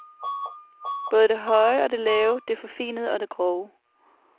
Både det høje og det lave, det forfinede og det grove.